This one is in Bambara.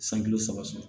San kulo saba